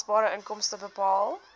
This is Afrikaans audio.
belasbare inkomste bepaal